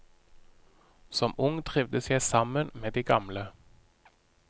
Som ung trivdes jeg sammen med de gamle.